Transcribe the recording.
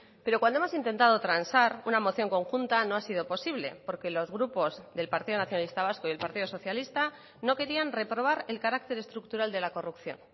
pero cuando hemos intentado transar una moción conjunta no ha sido posible porque los grupos del partido nacionalista vasco y el partido socialista no querían reprobar el carácter estructural de la corrupción